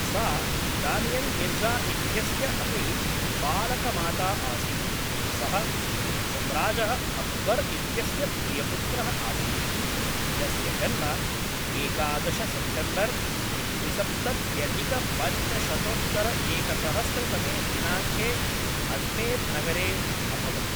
सा दानियल् मिर्ज़ा इत्यस्य अपि पालकमाता आसीत्, सः सम्राजः अक्बर् इत्यस्य प्रियपुत्रः आसीत्, यस्य जन्म एकादश सेप्टेम्बर् द्विसप्तत्यधिकपञ्चशतोत्तरएकसहस्रतमे दिनाङ्के अज्मेर् नगरे अभवत्।